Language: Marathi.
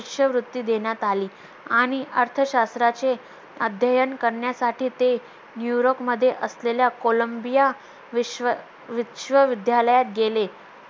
आणि अर्थशास्त्राचे अध्ययन करण्यासाठी ते new york मध्ये असलेल्या columbia विश्व विश्वविद्यालयात गेले